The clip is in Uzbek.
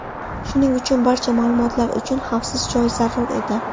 Shuning uchun, barcha ma’lumotlar uchun xavfsiz joy zarur edi.